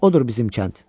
Odur bizim kənd.